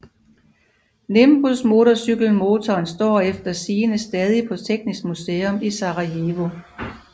Nimbus Motorcykelmotoren står efter sigende stadig på Teknisk Museum i Sarajevo